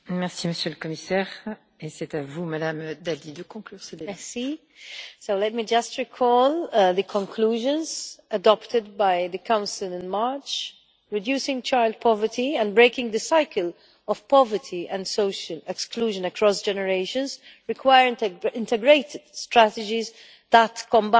Madam President, let me just recall the conclusions adopted by the Council in March reducing child poverty and breaking the cycle of poverty and social exclusion across generations require integrated strategies that combine prevention and support.